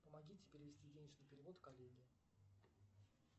помогите перевести денежный перевод коллеге